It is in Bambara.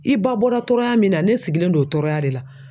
I ba bɔra tɔɔrɔya min na ne sigilen don o tɔɔrɔya de la